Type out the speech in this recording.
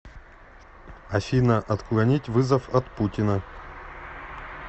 афина отклонить вызов от путина